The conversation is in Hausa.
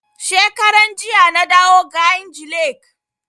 Shekaran jiya na dawo kainji lake